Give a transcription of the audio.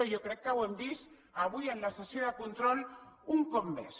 i jo crec que ho hem vist avui en la sessió de control un cop més